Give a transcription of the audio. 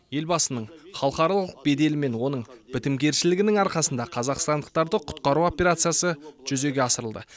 елбасының халықаралық беделі мен оның бітімгершілігінің арқасында қазақстандықтарды құтқару операциясы жүзеге асырылды